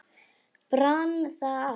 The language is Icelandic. Brann það allt?